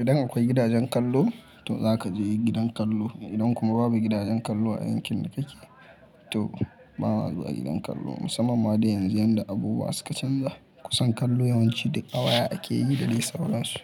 Idan akwai gidajen kallo to zaka je gidan kallo. Idan kuma babu gidajen kallo a yankin da kake, to ba ma zuwa gidan kallo. Musamman ma da yanzu yadda abubuwa suka canja, kusan kallo yawanci duk a waya ake yi da dai sauransu.